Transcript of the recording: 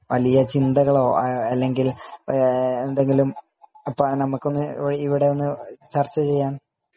വലിയ ചിന്തകളോ അല്ലെങ്കിൽ നമ്മക്കൊന്ന് ഇവിടെ ഒന്ന് ചർച്ച ചെയ്യാൻ ?